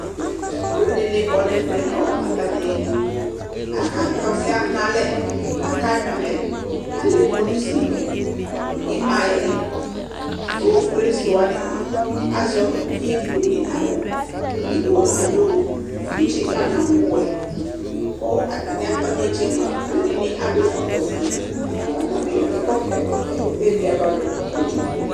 Aluɛdini kɔ nu ɛvɛ ku atani akatɛ ɔsɛ ɣa nalɛ aka nyui alɛ alɛ kpolusi nu ima yɛ ku kpolusi wani azɛ uvidi edigbo nu awu edigbo adu tsitsi kadu awu wɛ katani ava netse aluɛdini adu awu ɛkɔtɔ ofue katabi ya nu ɛkutɛ viava nu itsu dinibi